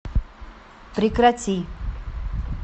прекрати